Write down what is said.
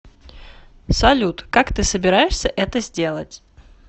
салют как ты собираешься это сделать